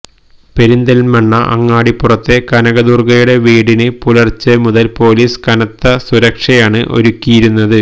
പെരിന്തല്മണ്ണ അങ്ങാടിപ്പുറത്തെ കനക ദുര്ഗയുടെ വീടിന് പുലര്ച്ചെ മുതല് പൊലീസ് കനത്ത സുരക്ഷയാണ് ഒരുക്കിയിരുന്നത്